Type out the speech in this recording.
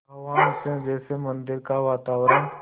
आह्वान से जैसे मंदिर का वातावरण